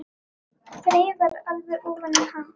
Þreifar alveg ofan í hann.